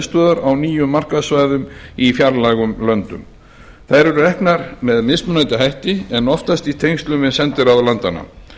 miðstöðvar á nýjum markaðssvæðum í fjarlægum löndum þær eru reknar með mismunandi hætti en oftast í tengslum við sendiráð landanna